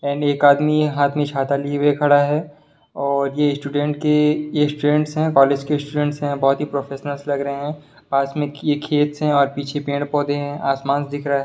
And एक आदमी हाथ में छाता लिए हु खड़ा है और यह स्टूडेंट के ये स्टूडेंट्स है कॉलेज के स्टूडेंट्स है बहुत ही प्रोफेशनल्स लग रहे हैं पास में किए खेत्स और पीछे पेड़-पौधे हैं आसमांस दिख रहा है।